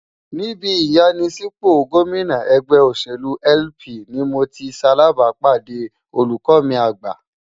Ní ibi ìyanisípò gómìnà ẹgbẹ́ òṣèlú LP ni mo ti ṣalàbàápàdé olùkọ́ mi àgbà.